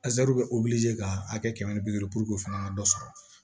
bɛ ka hakɛ kɛmɛ ni bi duuru o fana ka dɔ sɔrɔ